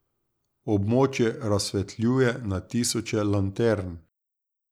Območje razsvetljuje na tisoče lantern.